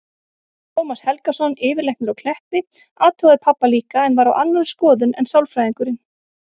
Tómas Helgason, yfirlæknir á Kleppi, athugaði pabba líka en var á annarri skoðun en sálfræðingurinn.